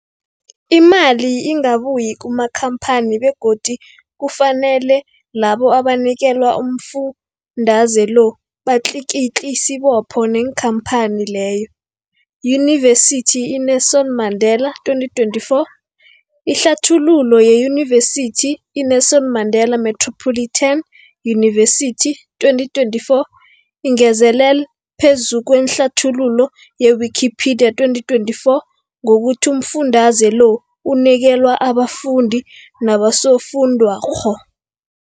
Imali ingabuyi kumakhamphani begodu kufanele labo abanikelwa umfundaze lo batlikitliki isibopho neenkhamphani leyo, Yunivesity i-Nelson Mandela 2024. Ihlathululo yeYunivesithi i-Nelson Mandela Metropolitan University, 2024, ingezelele phezu kwehlathululo ye-Wikipedia, 2024, ngokuthi umfundaze lo unikelwa abafundi nabosofundwakgho.